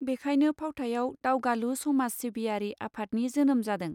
बेखाइनो फावथायाव दावगालु समाज सिबियारि आफादनि जोनोम जादों.